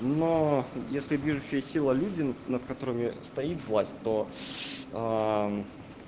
но если движущая сила люди над которыми стоит власть то